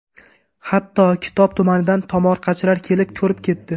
Hatto Kitob tumanidan tomorqachilar kelib, ko‘rib ketdi.